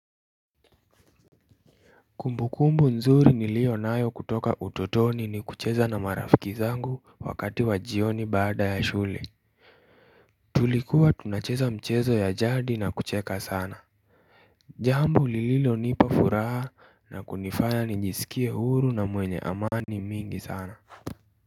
Kumbukumbu nzuri nilio nayo kutoka ututoni ni kucheza na marafiki zangu wakati wa jioni baada ya shule Tulikuwa tunacheza mchezo ya jadi na kucheka sana Jambo lililonipa furaha na kunifaya nijisikie huru na mwenye amani mingi sana.